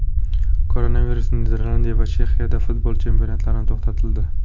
Koronavirus: Niderlandiya va Chexiyada futbol chempionatlari to‘xtatildi.